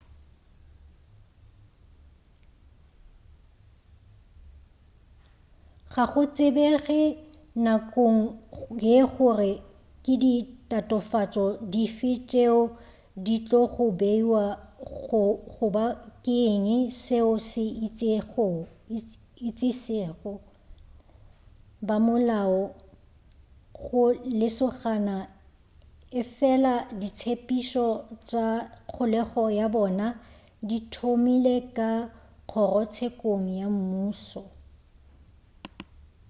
ga go tsebege nakong ye gore ke di tatofatšo dife tšeo di tlogo beiwa goba ke eng seo se išitšego bamolao go lesogana efela ditshepetšo tša kgolego ya bana di thomile ka kgorotsekong ya mmušo